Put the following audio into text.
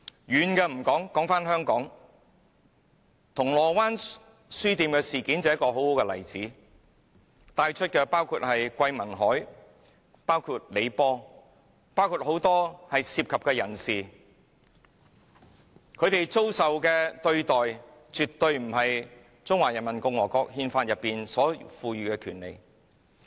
遠的不說，讓我們說說香港，銅鑼灣書店事件便是一個很好的例子，被帶走的包括桂民海、李波和很多涉及事件的人士，他們遭受的對待絕對不符合《憲法》所賦予的權利。